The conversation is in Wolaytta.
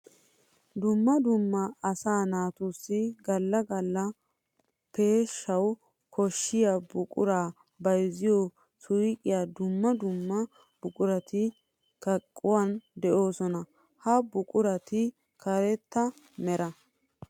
Dumma dumma asaa naatussi gala gala peeshshawu koshiya buqura bayzziyo suyqqiyan dumma dumma buquratti kaquwan doosonna. Ha buquratti karetta meraa.